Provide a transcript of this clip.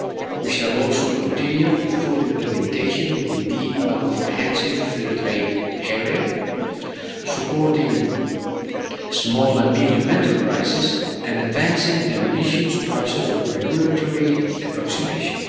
We shall also continue the full implementation of the Deep and Comprehensive Free Trade Area, supporting small and medium enterprises and advancing the ambitious process of regulatory approximation.